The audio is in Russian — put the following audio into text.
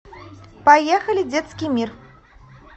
поехали детский мир